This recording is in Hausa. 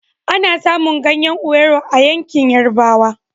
Ana samun ganyan owuro a yankin yarabawa